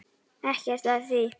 Ekkert að því.